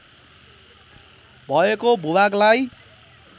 भएको भूभागलाई